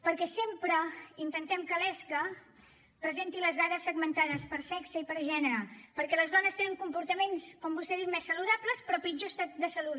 perquè sempre intentem que l’esca presenti les dades segmentades per sexe i per gènere perquè les dones tenen comportaments com vostè ha dit més saludables però pitjor estat de salut